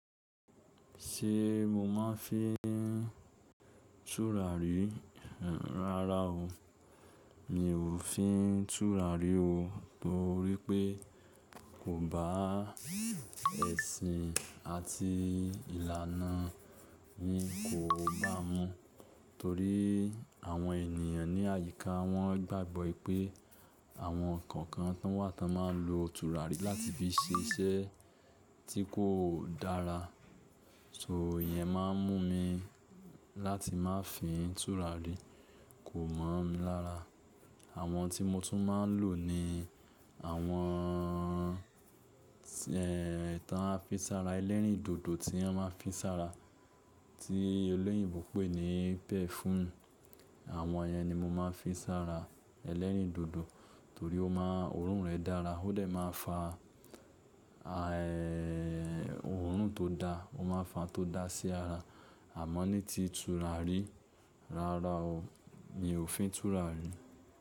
Ṣé mo máa ń fi tùràrí, rárá o. Mi ò fi tùràrí o torí pé kò bá ẹ̀sìn àti ìlànà mi kó bá mu. Torí àwọn ènìyàn ní àyíká wọ́n gbàgbọ́ ipé àwọn kokan tánwà tán máa ń lo tùràrí láti fi ṣe iṣẹ́ tí kò dára. So ìyẹn máa ń mú mi láti má fii tùràrí, kò mọ̀ mí lára. Àwọn tí mo tún máa ń lò ni àwọn, tán a fi sára, ẹlẹ́rìndòdò tí wọ́n ma fi sára, tí olóyìnbó pé ní perfume àwọn ìyẹn ni mo máa ń fii sára, ẹlẹ́rìndòdò torí orun rẹ̀ dára ó dẹ̀ máa ń fa a òórùn tó da, ó máa n fa ohun tó da sí ara. Àmọ́ ní ti tùràrí, rárá o, mi ò fi tùràrí.